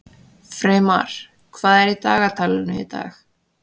Freymar, hvað er í dagatalinu í dag?